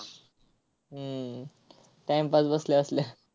हम्म time pass बसल्या बसल्या.